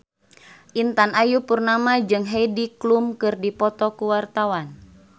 Intan Ayu Purnama jeung Heidi Klum keur dipoto ku wartawan